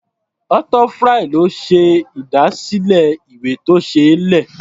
Arthur Fry ló ṣe ìdásílẹ̀ ìwé-tó-ṣeé-lẹ̀.